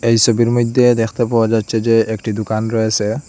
এই ছবির মইধ্যে দেখতে পাওয়া যাচ্ছে যে একটি দুকান রয়েছে।